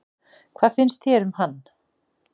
Hvað finnst þér um hann?